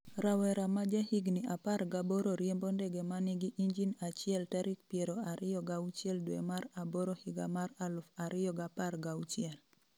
Rawera ma jahigni apar gaboro riembo ndege ma nigi injin achiel tarik piero ariyo gauchiel dwe mar aboro higa mar aluf ariyo gapar gauchiel.